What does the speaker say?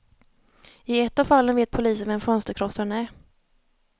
I ett av fallen vet polisen vem fönsterkrossaren är.